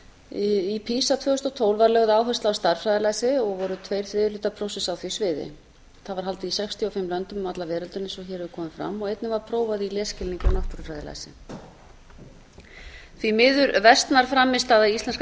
í pisa tvö þúsund og tólf var lögð áhersla á stærðfræðilæsi voru tveir þriðju hlutar prófsins á því sviði það var haldið í sextíu og fimm löndum um alla veröldina eins og hér hefur komið fram einnig var prófa í lesskilningi og náttúrufræðilæsi því miður versnar frammistaða íslenskra